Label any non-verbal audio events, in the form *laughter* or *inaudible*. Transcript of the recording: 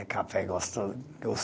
É café gostoso, gostoso. *unintelligible*